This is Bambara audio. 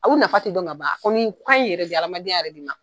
u nafa tɛ dɔn ka ban hadamadenya yɛrɛ de ma.